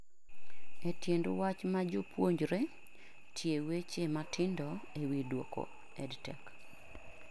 E tiend wach ma jopuonjre; tie weche matindo e wi duoko EdTech